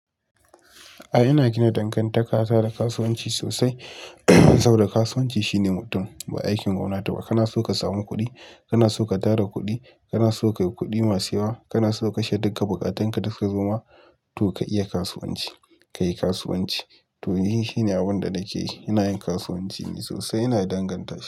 A'a ina gina dangantaka saboda kasuwanci sosai, saboda kasuwanci shine mutum ba aikin gwamnati ba. Kana so ka samu kuɗi, kana so ka tara kuɗi, kana so ka yi kuɗi masu yawa, kana so kashe dukka buƙatunka duka gama, to ka iya kasuwanci. Ka yi kasuwanci. To ni shi ne abun da nake yi. Ina yin kasuwanci ne sosai. Ina danganta.